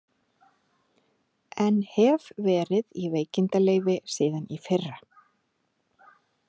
En hef verið í veikindaleyfi síðan í fyrra.